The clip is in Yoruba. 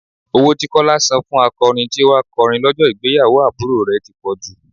Owó tí Kọ́lá san fún akọrin tí ó wà kọrin lọ́jọ́ ìgbéyàwó àbúrò rẹ̀ ti pọ̀jù.